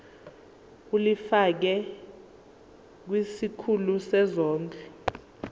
ulifiakela kwisikulu sezondlo